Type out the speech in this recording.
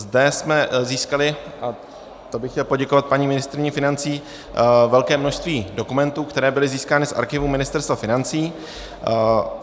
Zde jsme získali, a to bych chtěl poděkovat paní ministryni financí, velké množství dokumentů, které byly získány v archivu Ministerstva financí.